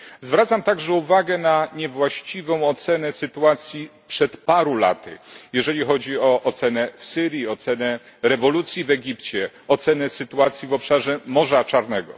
Zwracam także uwagę na niewłaściwą ocenę sytuacji przed paru laty, jeżeli chodzi o ocenę sytuacji w Syrii, ocenę rewolucji w Egipcie, ocenę sytuacji w obszarze Morza Czarnego.